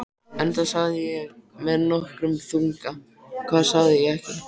Enda sagði ég með nokkrum þunga: Hvað sagði ég ekki?